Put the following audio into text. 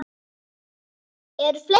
Eru fleiri?